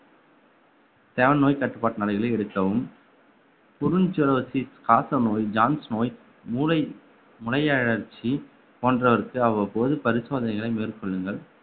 நோய் கட்டுப்பாட்டு நிலைகளை எடுக்கவும் காசநோய் ஜான்ஸ் நோய் மூளை முளை அழற்சி போன்றவருக்கு அவ்வப்போது பரிசோதனைகளை மேற்கொள்ளுங்கள்